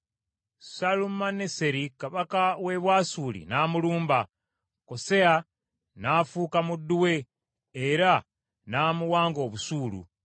Salumaneseri kabaka w’e Bwasuli n’amulumba, Koseya n’afuuka muddu we era n’amuwanga obusuulu.